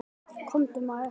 Komdu maður.